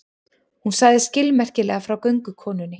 Hún sagði skilmerkilega frá göngukonunni.